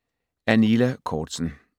Af Nila Korzen